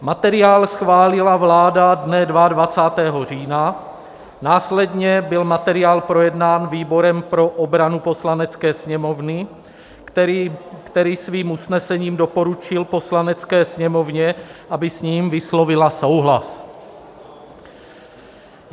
Materiál schválila vláda dne 22. října, následně byl materiál projednán výborem pro obranu Poslanecké sněmovny, který svým usnesením doporučil Poslanecké sněmovně, aby s ním vyslovila souhlas.